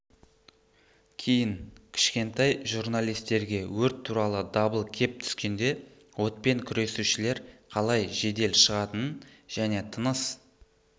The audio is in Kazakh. кейін кішкентай журналистерге өрт туралы дабыл кеп түскенде отпен күресушілер қалай жедел шығатынын және тыныс